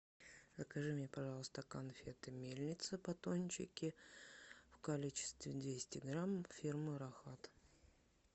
закажи мне пожалуйста конфеты мельница батончики в количестве двести грамм фирмы рахат